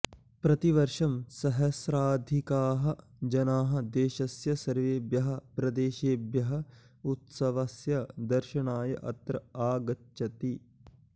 प्रतिवर्षं सहस्राधिकाः जनाः देशस्य सर्वेभ्यः प्र्देशेभ्यः उत्सवस्य दर्शनाय अत्र आगचन्ति